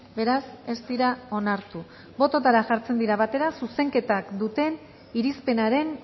beraz ez dira onartu bototara jartzen dira batera zuzenketak duten irizpenaren